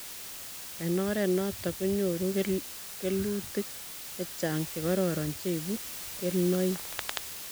Eng' oret notok ko nyoru kelutik chechang'chekororon che ibu kelnoik